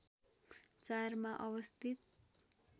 ४ मा अवस्थित